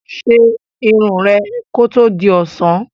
Ṣe irun rẹ kí ó tó di ọ̀sán!